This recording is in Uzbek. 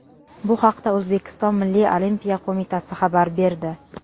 Bu haqda O‘zbekiston Milliy olimpiya qo‘mitasi xabar berdi .